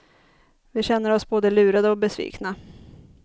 Vi känner oss både lurade och besvikna.